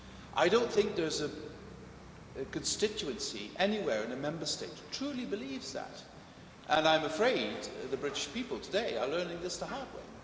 I don't think there is a constituency anywhere in a Member State that truly believes that, and I'm afraid the British people today are learning this the hard way.